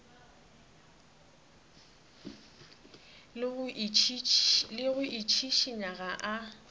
le go itšhišinya ga a